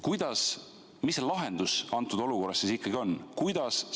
Mis selle lahendus antud olukorras siis ikkagi on?